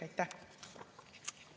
Aitäh!